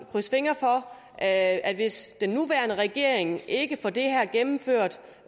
krydse fingre for at at hvis den nuværende regering ikke får det her gennemført